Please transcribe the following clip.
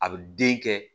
A bɛ den kɛ